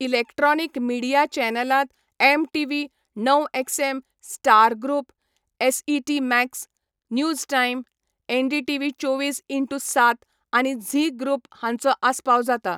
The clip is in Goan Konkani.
इलेक्ट्रॉनीक मिडिया चॅनलांत, एमटीव्ही, णव XM, star group, SET Max, news time, NDTV चोवीस इनटू सात आनी झी ग्रुप हांचो आस्पाव जाता.